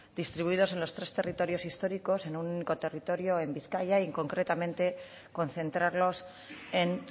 distribuidos en los tres territorios históricos en un único territorio en bizkaia y concretamente concentrarlos en